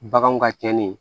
Baganw ka cɛnni ye